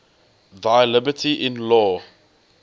thy liberty in law